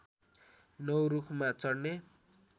९ रुखमा चढ्ने